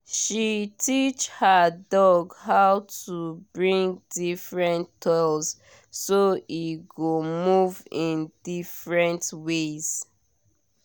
she teach her dog how to bring different toys so e go move in different ways